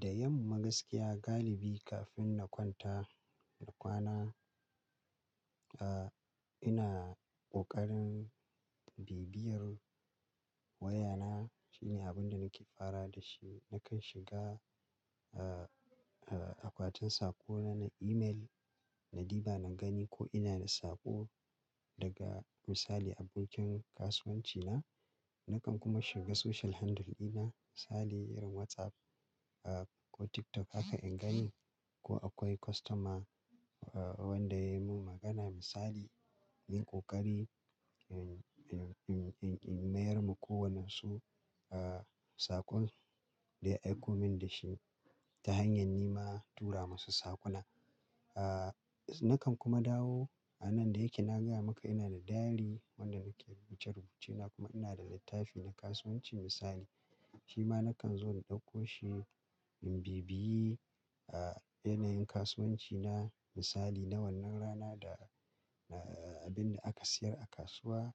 Da yamma gaskiya galibi kafin na kwanta kwana ina ƙoƙarin bibiyar wayana. Shine abin da nake farawa da shi. Nakan shiga akwatin sako na na email na diba na gani ko ina da saƙo daga misali abokin kasuwanci na. Nakan kuma shiga social handle ina misali irin WhatsApp ko TikTok haka in gani ko akwai customer wanda ya mun magana misali in ƙoƙari in, in, in mayar ma ko wannen su saƙon da ya aiko min da shi ta hanyar ni ma tura masu saƙona. Nakan kuma dawo a nan da yake na gaya maka ina da diary wanda nake rubuta rubuce na kuma ina da littafi na kasuwanci misali. Shi ma nakan zo na ɗauko shi in bibiye yanayin kasuwanci na misali na wannan rana da, da abin da aka sayar a kasuwa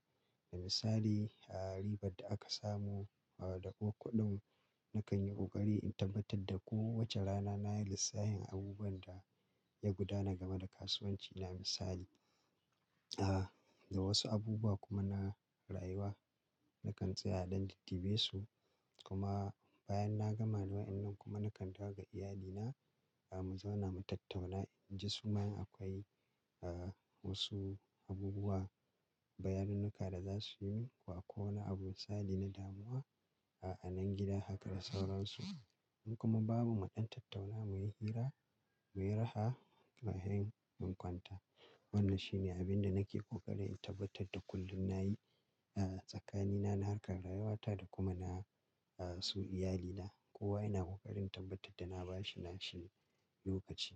da misali a ribar da aka samu da ko kuɗin nakan yi ƙoƙari in tabbatar da kowace rana na yi lissafin abubuwan da ya gudana game da kasuwanci na misali. A, da wasu abubuwa kuma na rayuwa nakan tsaya dan diddibe su kuma bayan na gama wannan kuma nakan dawo ga iyalina mu zauna mu tattauna in ji su ma in akwai wasu abubuwa, bayaninnaka da za su yi ko akwai wani abun sadi na damuwa a anan gida haka da sauransu. In kuma bamu ma ɗan tattauna muyi hira muyi raha bayan mun kwanta. Wannan shine abin da nake ƙoƙari in tabbatar da kullum na yi tsakanina na harkar rayawata da kuma na su iyalina. Kowa ina ƙoƙarin tabbatar da na ba shi nashi lokaci.